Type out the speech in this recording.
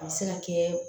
A bɛ se ka kɛ